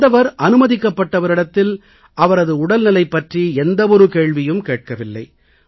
வந்தவர் அனுமதிக்கப்பட்டவரிடத்தில் அவரது உடல்நிலை பற்றி எந்த ஒரு கேள்வியும் கேட்கவில்லை